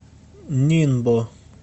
нинбо